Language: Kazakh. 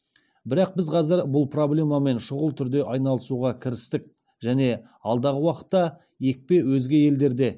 бірақ біз қазір бұл проблемамен шұғыл түрде айналысуға кірістік және алдағы уақытта екпе өзге елдерде